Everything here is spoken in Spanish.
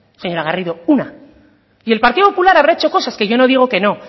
señora garrido una y el partido popular habrá hecho cosas que yo no digo que no